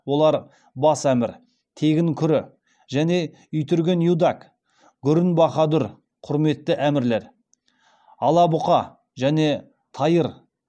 олар бас әмір тегін күрі және итүрген юдак гүрін бахадүр құрметті әмірлер ала бұқа және тайыр